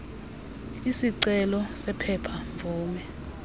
isicelo sephepha mvume